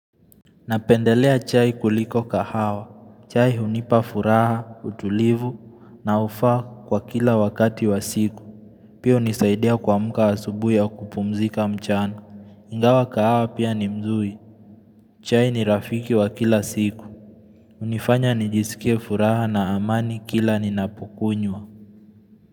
Napendelea chai kuliko kahawa. Chai hunipa furaha, utulivu unaofaa kwa kila wakati wa siku. Pia hunisaidia kuamka asubuhi au kupumzika mchana. Ingawa kahawa pia ni mzuri. Chai ni rafiki wa kila siku. Hunifanya nijisikie furaha na amani kila ninapokunywa.